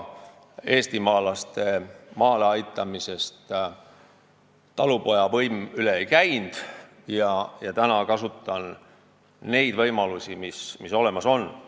Eestimaalaste maale aitamisest talupoja võim üle ei käinud ja praegu kasutan neid võimalusi, mis olemas on.